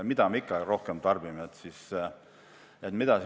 Mida me ikka rohkem tarbime?